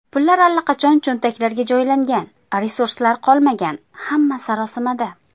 Pullar allaqachon cho‘ntaklarga joylangan, resurslar qolmagan, hamma sarosimada.